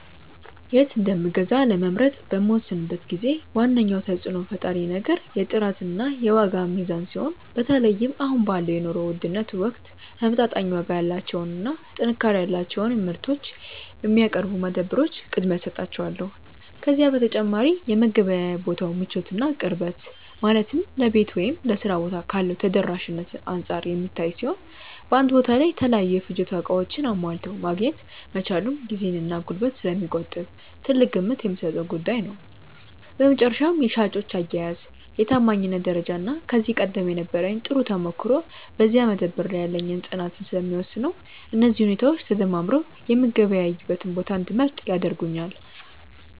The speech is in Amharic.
የት እንደምገዛ ለመምረጥ በምወስንበት ጊዜ ዋነኛው ተጽዕኖ ፈጣሪ ነገር የጥራትና የዋጋ ሚዛን ሲሆን፣ በተለይም አሁን ባለው የኑሮ ውድነት ወቅት ተመጣጣኝ ዋጋ ያላቸውንና ጥንካሬ ያላቸውን ምርቶች የሚያቀርቡ መደብሮች ቅድሚያ እሰጣቸዋለሁ። ከዚህ በተጨማሪ የመገበያያ ቦታው ምቾትና ቅርበት፣ ማለትም ለቤት ወይም ለሥራ ቦታ ካለው ተደራሽነት አንጻር የሚታይ ሲሆን፣ በአንድ ቦታ ላይ የተለያዩ የፍጆታ ዕቃዎችን አሟልቶ ማግኘት መቻሉም ጊዜንና ጉልበትን ስለሚቆጥብ ትልቅ ግምት የምሰጠው ጉዳይ ነው። በመጨረሻም የሻጮች አያያዝ፣ የታማኝነት ደረጃና ከዚህ ቀደም የነበረኝ ጥሩ ተሞክሮ በዚያ መደብር ላይ ያለኝን ፅናት ስለሚወስነው፣ እነዚህ ሁኔታዎች ተደማምረው የምገበያይበትን ቦታ እንድመርጥ ያደርጉኛል።